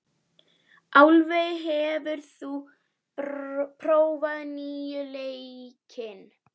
Álfey, hefur þú prófað nýja leikinn?